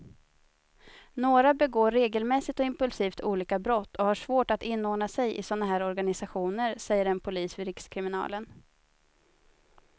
Några begår regelmässigt och impulsivt olika brott och har svårt att inordna sig i såna här organisationer, säger en polis vid rikskriminalen.